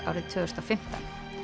árið tvö þúsund og fimmtán